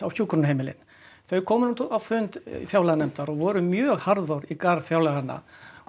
hjúkrunarheimilin þau komu nú á fund fjárlaganefndar og voru mjög harðorð í garð fjárlaganna